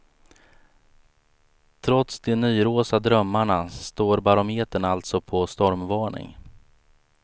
Trots de nyrosa drömmarna står barometern alltså på stormvarning.